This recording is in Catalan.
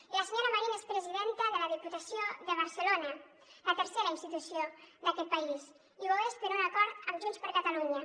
i la senyora marín és presidenta de la diputació de barcelona la tercera institució d’aquest país i ho és per un acord amb junts per catalunya